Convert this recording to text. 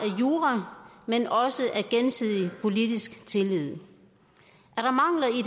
jura men også af gensidig politisk tillid